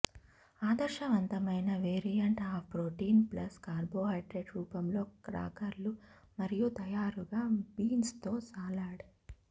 ఆదర్శవంతమైన వేరియంట్ ఈ protein plus carbohydrate రూపంలో క్రాకర్లు మరియు తయారుగా బీన్స్ తో సలాడ్